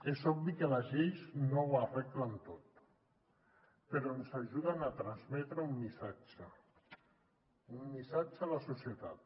és obvi que les lleis no ho arreglen tot però ens ajuden a transmetre un missatge un missatge a la societat